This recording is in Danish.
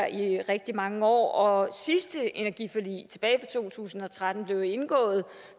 i rigtig mange år og sidste energiforlig tilbage i to tusind og tolv blev jo indgået